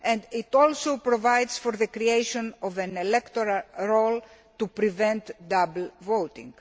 It also provides for the creation of an electoral role to prevent double voting.